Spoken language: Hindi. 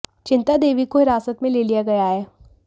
चिंता देवी को हिरासत में ले लिया गया है